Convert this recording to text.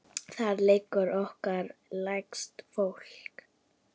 Efst trónir rauði örninn.